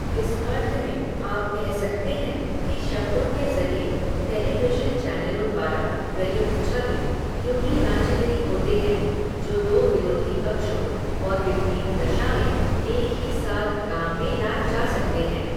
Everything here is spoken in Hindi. इस अर्थ में, आप कह सकते हैं, कि शब्दों के ज़रिए, टेलीविज़न चैनलों द्वारा प्रयुक्त छवि, यूनीइमैजिनरी होते हैं, जो दो विरोधी पक्षों, और विपरीत दशा में, एक ही साथ काम में लाए जा सकते हैं